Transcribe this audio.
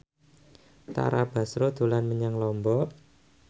Tara Basro dolan menyang Lombok